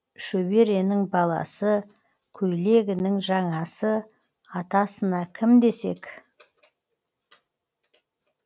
шөберенің баласы көйлегінің жаңасы атасына кім десек